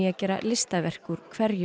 gera listaverk úr hverju